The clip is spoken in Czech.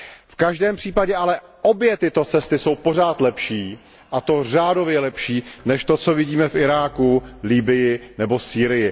V každém případě ale obě tyto cesty jsou pořád lepší, a to řádově lepší, než to, co vidíme v Iráku, Libyi nebo Sýrii.